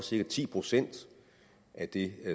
cirka ti procent af det